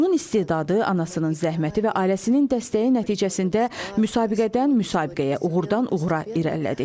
Onun istedadı anasının zəhməti və ailəsinin dəstəyi nəticəsində müsabiqədən müsabiqəyə, uğurdan uğura irəlilədik.